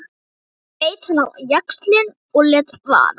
Svo beit hann á jaxlinn og lét vaða.